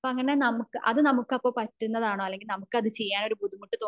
അത് നമുക്ക് അപ്പൊ പറ്റുന്നതാണോ അല്ലെങ്കിൽ നമുക് അത് ചെയ്യാൻ ഒരു ബുദ്ധിമുട്ട്